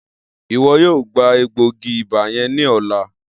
Iwọ yoo gba egboogi-iba yẹn ni ọla.